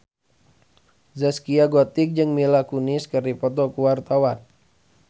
Zaskia Gotik jeung Mila Kunis keur dipoto ku wartawan